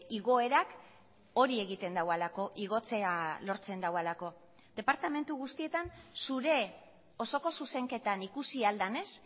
igoerak hori egiten duelako igotzea lortzen duelako departamentu guztietan zure osoko zuzenketan ikusi ahal denez